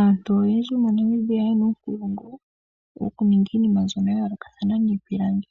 Aantu oyendji moNamibia yena uunongo woku ninga iinima mbyono ya yoolokathana miipilangi.